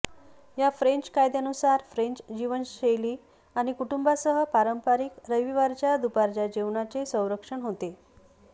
या फ्रेंच कायद्यानुसार फ्रेंच जीवनशैली आणि कुटुंबासह पारंपारिक रविवारीच्या दुपारच्या जेवणाचे संरक्षण होते